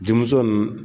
Denmuso nunnu